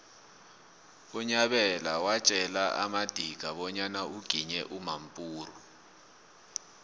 unyabela watjela amadika bonyana uginye umampuru